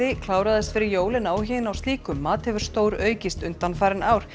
kláraðist fyrir jól en áhugi á slíkum mat hefur stóraukist undanfarin ár